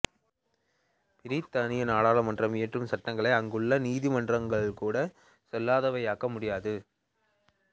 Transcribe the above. பிரித்தானிய நாடாளுமன்றம் இயற்றும் சட்டங்களை அங்குள்ள நீதிமன்றங்கள் கூட செல்லாதவையாக்க முடியாது